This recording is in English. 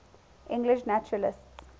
english naturalists